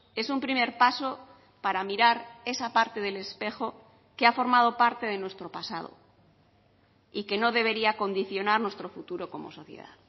es un primer paso para mirar esa parte del espejo que ha formado parte de nuestro pasado y que no debería condicionar nuestro futuro como sociedad